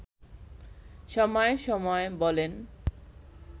সময় সময় বলেন